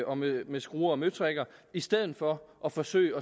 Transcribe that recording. og med med skruer og møtrikker i stedet for at forsøge